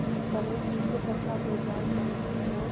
तरह सूखे तथा बेजान पड़े थे और